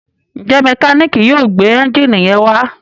njé Mẹkáníìkì yóò gbé Ẹ́ńjìnì yén wá?